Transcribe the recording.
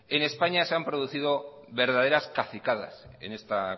en españa se ha producido verdaderas cacicadas en esta